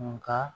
Nka